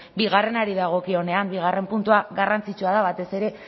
bigarrenari dagokionean bigarren puntua garrantzitsua da batez ere